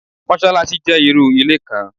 Mosolaṣi jẹ irú ilé kan